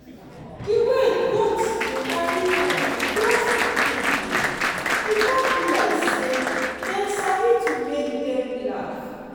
de way goats dey carry play with those pikin dem e come be like say dem sabi to make them laugh.